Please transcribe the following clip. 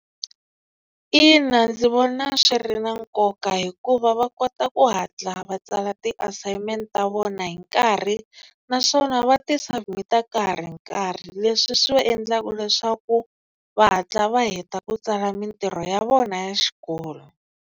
Ina ndzi vona swi ri na nkoka hikuva va kota ku hatla va tsala ti-assignment ta vona hi nkarhi naswona va ti submit-a ka ha ri nkarhi leswi swi va endlaka leswaku va hatla va heta ku tsala mintirho ya vona ya xikolo.